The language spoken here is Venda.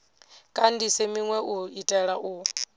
kandise minwe u itela u